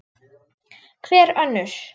Hver önnur?